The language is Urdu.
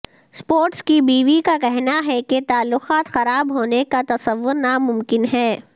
اسپورٹس کی بیوی کا کہنا ہے کہ تعلقات خراب ہونے کا تصور ناممکن ہے